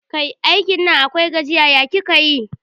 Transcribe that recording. Kai, aikin Nan akwai gajiya, ya kika yi?